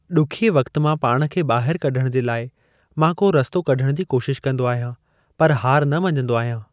ॾुखिए वक़्ति मां पाण खे ॿाहिरि कढिण जे लाइ मां को रस्तो कढिण जी कोशिशि कंदो आहियां पर हार न मञंदो आहियां।